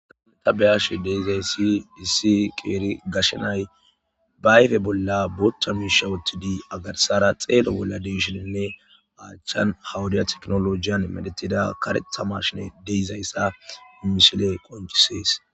Adaneta beyash deizayssi disi qeeri gashenay baayfe bolla booththa miishawotidi agarsara xeelo bolla deeshininne aachchan hawudiya teknolojiyan medetida karetamashine deizayssa immishile qoncisees